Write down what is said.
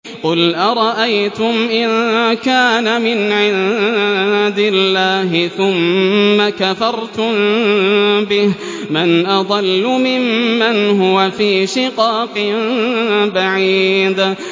قُلْ أَرَأَيْتُمْ إِن كَانَ مِنْ عِندِ اللَّهِ ثُمَّ كَفَرْتُم بِهِ مَنْ أَضَلُّ مِمَّنْ هُوَ فِي شِقَاقٍ بَعِيدٍ